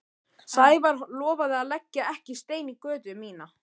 Sævar lofaði að leggja ekki stein í götu mína.